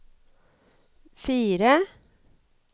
fire